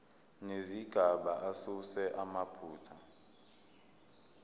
nezigaba asuse amaphutha